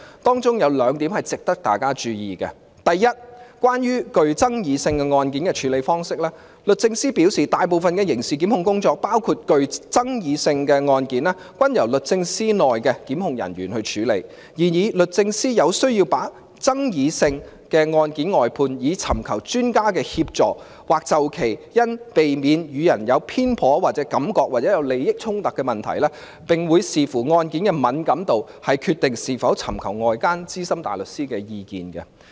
文件有兩點值得大家注意，第一，關於具爭議性的案件的處理方式，律政司表示，大部分的刑事檢控工作，包括具爭議性的案件均由律政司內的檢控人員處理，但律政司有需要把具爭議性的案件外判，以尋求專家的協助，或就其因避免予人有偏頗感覺或有利益衝突的問題，並會視乎案件的敏感度來決定是否尋求外間資深大律師的意見。